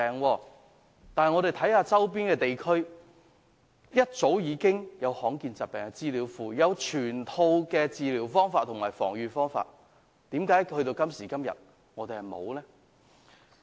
可是，我們的周邊地區早已設立罕見疾病資料庫，備有全套治療方法和防預方法的資料，為何我們直至今天仍未做呢？